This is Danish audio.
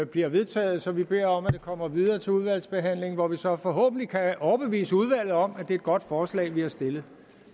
bliver vedtaget så vi beder om at det kommer videre til udvalgsbehandlingen hvor vi så forhåbentlig kan overbevise udvalget om at det er godt forslag vi har stillet